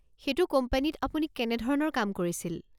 সেইটো কোম্পানীত আপুনি কেনেধৰণৰ কাম কৰিছিল?